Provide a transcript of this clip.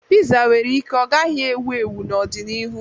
Piza nwere ike ọ gaghị ewu ewu n'ọdịnihu.